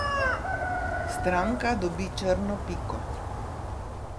Stranka dobi črno piko.